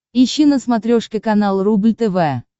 ищи на смотрешке канал рубль тв